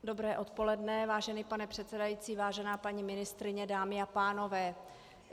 Dobré odpoledne, vážený pane předsedající, vážená paní ministryně, dámy a pánové.